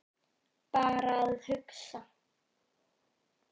Bara að hugsa.